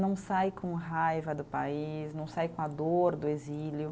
Não sai com raiva do país, não sai com a dor do exílio.